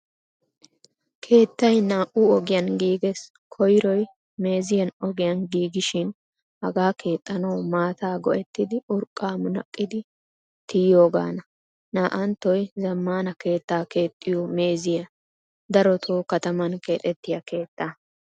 Keettay naa"u ogiyan giigees. Koyroy meeziyan ogiyan giigishin hagaa keexanawu maataa go'ettidi urqqa munaqqidi tiyiyogana. Naa"anttoy zamaana keettaa keexiyo meeziyaa darotto kataman keexettiya keettaa.